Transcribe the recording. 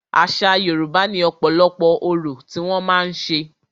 Àṣa Yorùbá ní ọ̀pọ̀lọpọ̀ orò tí wọ́n màá ń ṣe.